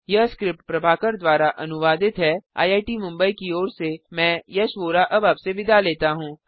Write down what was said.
यह स्क्रिप्ट प्रभाकर द्वारा अनुवादित है आईआईटी मुंबई की ओर से मैं यश वोरा अब आपसे विदा लेता हूँ